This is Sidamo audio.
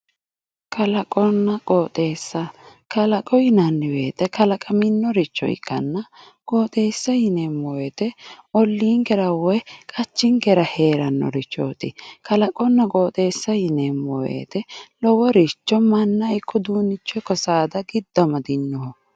Kalaqonna qooxxeessa yinnanni woyte kalaqaminore ikkanna qooxxeessa ollinkera woyi qachinkera heeranorichoti kalaqonna qooxxeessa yineemmo woyte loworicho manna ikko saada ikko giddo amadinoho.